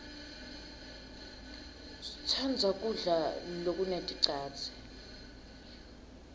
sitsandza kudla lokuneticadze